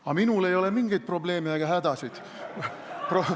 Aga minul ei ole mingeid probleeme ega hädasid.